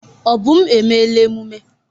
Obum, emela emume!